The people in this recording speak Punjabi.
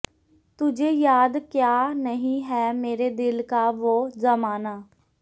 ਤੁਝੇ ਯਾਦ ਕਯਾ ਨਹੀਂ ਹੈ ਮੇਰੇ ਦਿਲ ਕਾ ਵੋਹ ਜ਼ਮਾਨਾ